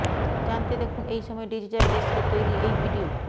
জানতে দেখুন এই সময় ডিজিটাল ডেস্কের তৈরি এই ভিডিয়ো